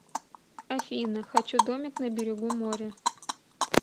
афина хочу домик на берегу моря